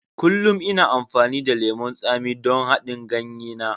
Kullum ina amfani da lemon tsami don haɗin ganye na.